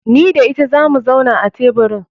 Ni da ita zamu zauna a teburin.